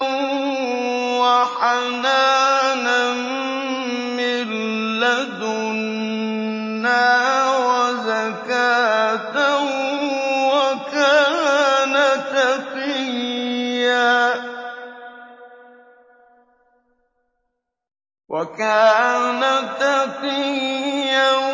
وَحَنَانًا مِّن لَّدُنَّا وَزَكَاةً ۖ وَكَانَ تَقِيًّا